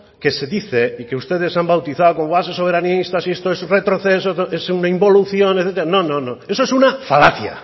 que se dice y que ustedes han bautizado como base soberanista y esto es retroceso es una involución no no eso es una falacia